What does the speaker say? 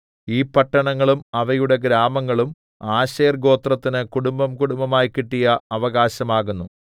ഈ പട്ടണങ്ങളും അവയുടെ ഗ്രാമങ്ങളും ആശേർ ഗോത്രത്തിന് കുടുംബംകുടുംബമായി കിട്ടിയ അവകാശം ആകുന്നു